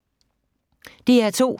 DR2